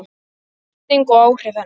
Birting og áhrif hennar.